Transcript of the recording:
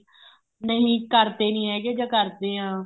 ਨਹੀਂ ਕਰਦੇ ਨਹੀਂ ਹੈਗੇ ਜਾਂ ਕਰਦੇ ਆ